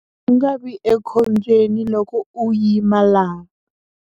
A wu nga vi ekhombyeni loko u yima laha.